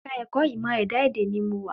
Ẹ̀ka ẹ̀kọ́ ìmọ̀ ẹ̀dá èdè ni mo wa